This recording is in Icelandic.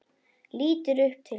Lítur upp til hans.